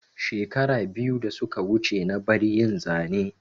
Shekara biyu da suka wuce na bar yin Zane